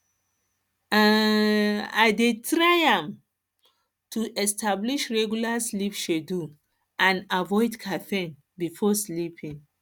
i um dey try um to establish regular sleep schedule and um avoid caffeine before bedtime